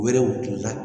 U yɛrɛw kunna